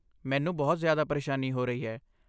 ਮੈਨੂੰ ਬਹੁਤ ਜ਼ਿਆਦਾ ਪਰੇਸ਼ਾਨੀ ਹੋ ਰਹੀ ਹੈ।